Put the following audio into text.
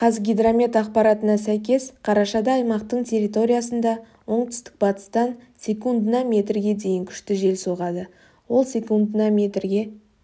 қазгидромет ақпаратына сәйкес қарашада аймақтың территориясында оңтүстік-батыстан секундына метрге дейін күшті жел соғады ол секундына метрге